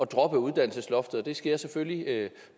droppe uddannelsesloftet det skal jeg selvfølgelig